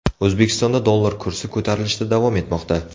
O‘zbekistonda dollar kursi ko‘tarilishda davom etmoqda.